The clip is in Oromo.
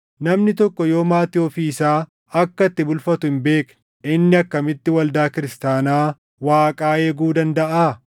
Namni tokko yoo maatii ofii isaa akka itti bulfatu hin beekne inni akkamitti waldaa kiristaanaa Waaqaa eeguu dandaʼaa?